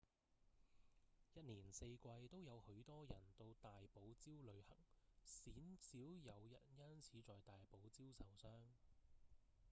一年四季都有許多人到大堡礁旅行鮮少有人因此在大堡礁受傷